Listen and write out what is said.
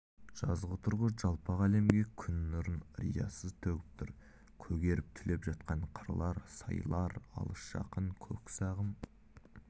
жазғытұрғы жалпак әлемге күн нұрын риясыз төгіп тұр көгеріп түлеп жатқан қырлар сайлар алыс-жақын көк сағым